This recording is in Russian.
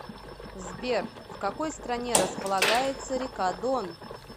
сбер в какой стране располагается река дон